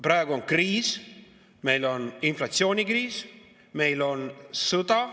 Praegu on kriis: meil on inflatsioonikriis, meil on sõda.